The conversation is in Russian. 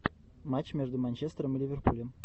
матч между манчестером и ливерпулем